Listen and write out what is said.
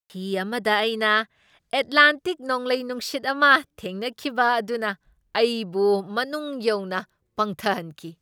ꯍꯤ ꯑꯃꯗ ꯑꯩꯅ ꯑꯦꯠꯂꯥꯟꯇꯤꯛ ꯅꯣꯡꯂꯩ ꯅꯨꯡꯁꯤꯠ ꯑꯃ ꯊꯦꯡꯅꯈꯤꯕ ꯑꯗꯨꯅ ꯑꯩꯕꯨ ꯃꯅꯨꯡ ꯌꯧꯅ ꯄꯪꯊꯍꯟꯈꯤ꯫